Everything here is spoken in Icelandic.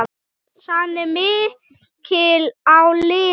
Pressan er mikil á liðið.